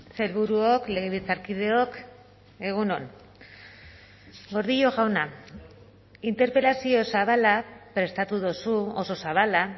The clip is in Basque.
sailburuok legebiltzarkideok egun on gordillo jauna interpelazio zabala prestatu duzu oso zabala